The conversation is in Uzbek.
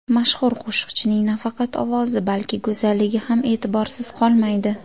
Mashhur qo‘shiqchining nafaqat ovozi, balki go‘zalligi ham e’tiborsiz qolmaydi.